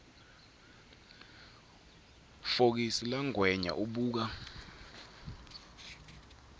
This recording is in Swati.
fokisi langwenya ubuka